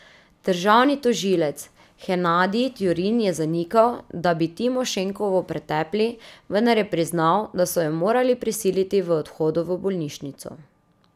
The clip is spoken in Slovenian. Državni tožilec Henadij Tjurin je zanikal, da bi Timošenkovo pretepli, vendar je priznal, da so jo morali prisiliti v odhodu v bolnišnico.